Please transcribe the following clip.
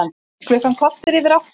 Klukkan korter yfir átta